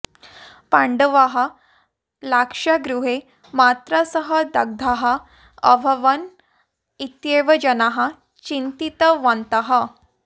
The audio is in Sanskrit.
पाण्डवाः लाक्षागृहे मात्रा सह दग्धाः अभवन् इत्येव जनाः चिन्तितवन्तः